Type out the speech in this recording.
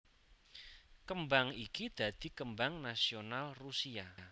Kembang iki dadi kembang nasional Rusia